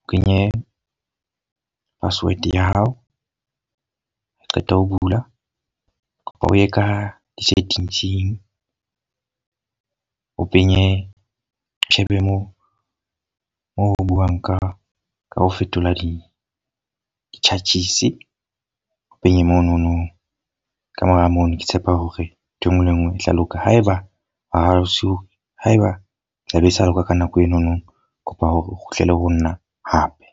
o kenye password ya hao. Ha o qeta ho bula o ye ka di-settings-ing o penye, o shebe moo moo ho buuwang ka ka ho fetola di di-charges. O penye monono ka mora mono ke tshepa hore ntho e nngwe le e nngwe e tla loka. Haeba haeba tlabe di sa loka ka nako e no no. Kopa hore o kgutlele ho nna hape.